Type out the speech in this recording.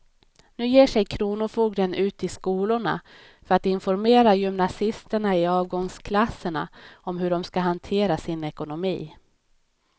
Nu ger sig kronofogden ut i skolorna för att informera gymnasisterna i avgångsklasserna om hur de ska hantera sin ekonomi.